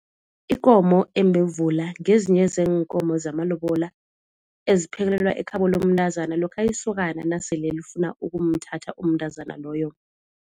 Ikomo embevula ngezinye zeenkomo zamalobola eziphekelelwa ekhabo lomntazana lokha isokana nasele lifuna ukumthatha umntazana loyo.